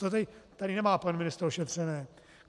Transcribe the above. To tady nemá pan ministr ošetřeno.